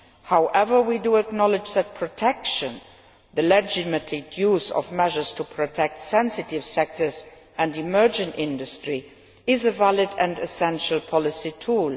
However, we do acknowledge that protection the legitimate use of measures to protect sensitive sectors and emerging industry is a valid and essential policy tool.